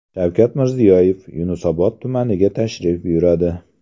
Shavkat Mirziyoyev Yashnobod tumaniga tashrif buyuradi.